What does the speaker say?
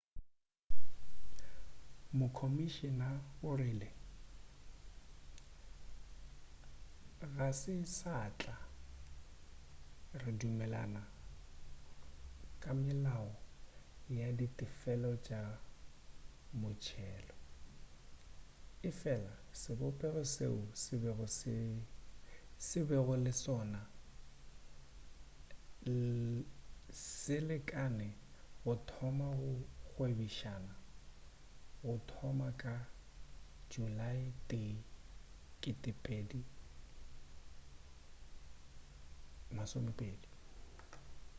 mokomišina o rile ga se satla re dumelelana ka melao ya ditefelo tša motšelo efela sebopego seo bego le sona se lekane go thoma go gwebišana go thoma ka julae 1 2020